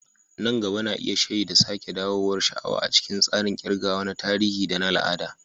Nan gaba na iya shaida sake dawowar sha'awa a cikin tsarin ƙirgawa na tarihi da na al'ada.